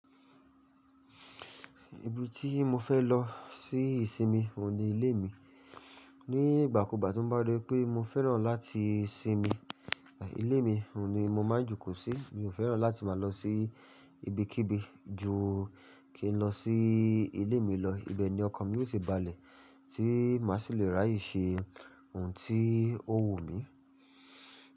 Ibi tí mo fẹ́ lọ sí ìsinmi, òun ni ilé mi. Ni ìgbàkúùgbà tí n bá ri pé mo fẹ́ràn láti sinmi, ilé mi òun ni mo máa ń jù kú sí. Mi ò fẹ́ràn láti máa lọ sí ibikíbi ju kí n lọ sí ilé mi lọ. Ibe ni ọkàn mi ó ti balẹ̀ tí màá ṣì lè ráyè ṣe òun tí ó wù mí.